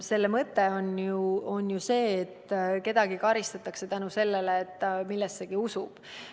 Selle mõte on ju see, et kedagi karistatakse seetõttu, et ta millessegi usub.